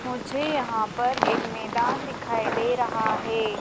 मुझे यहाँ पर एक मैदान दिखाई दे रहा हैं।